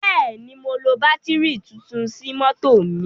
Bẹ́ẹ̀ ni, mo lo bátìrì tuntun sí mọ́tọ̀ mi.